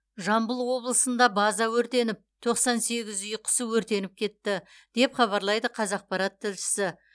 жамбыл облысында база өртеніп тоқсан сегіз үй құсы өртеніп кетті деп хабарлайды қазақпарат тілшісі